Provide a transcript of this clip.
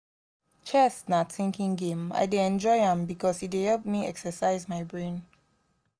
chess na thinking game i dey enjoy am because e dey help me exercise my brain